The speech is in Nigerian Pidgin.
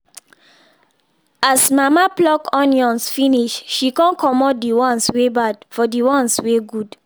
as mama pluck onions finish she con comot the ones wey bad from the ones wey good